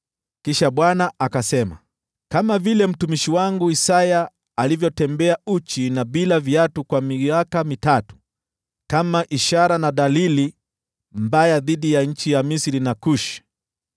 Kisha Bwana akasema, “Kama vile mtumishi wangu Isaya alivyotembea uchi na bila viatu kwa miaka mitatu, kama ishara na dalili mbaya dhidi ya nchi ya Misri na Kushi,